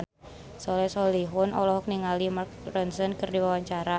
Soleh Solihun olohok ningali Mark Ronson keur diwawancara